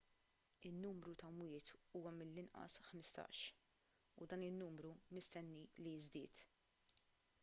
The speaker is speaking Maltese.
in-numru ta' mwiet huwa mill-inqas 15 u dan in-numru mistenni li jiżdied